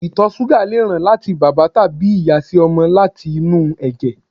ìtọ̀ súgà lè ràn láti bàbá tàbí ìyá sí ọmọ láti inú ẹ̀jẹ̀